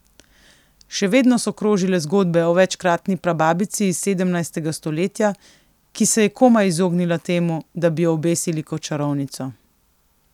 Še vedno so krožile zgodbe o večkratni prababici iz sedemnajstega stoletja, ki se je komaj izognila temu, da bi jo obesili kot čarovnico.